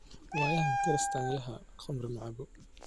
Wayahan Kristan axay kamri macabo.